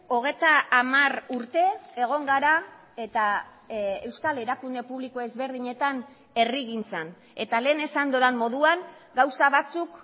hogeita hamar urte egon gara eta euskal erakunde publiko ezberdinetan herrigintzan eta lehen esan dudan moduan gauza batzuk